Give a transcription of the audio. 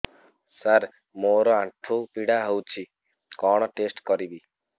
ସାର ମୋର ଆଣ୍ଠୁ ପୀଡା ହଉଚି କଣ ଟେଷ୍ଟ କରିବି